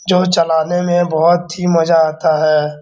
जो चलाने में बहोत ही मजा आता है।